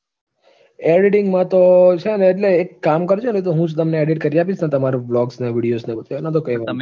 editing માં તો છે ને એટલે એક કામ કરજે ને હું જ તમને edit કરી આપીશ ને, તમારું blogs ને videos ને બધું એનો તો કંઈ વાંધો નઈ